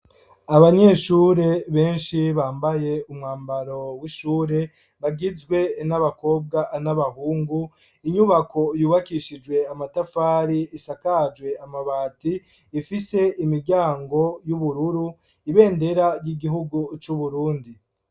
Abanyeshure, benshi ,bambaye ,umwambaro ,w'ishure ,bagizwe n'Abakobwa n'Abahungu, inyubako yubakishijwe Amatafari, isakajwe, Amabati ,ifise Imiryango, y'Ubururu, ibendera ry'Igihugu c'Uburundi.